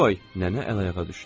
Nənə əl-ayağa düşdü.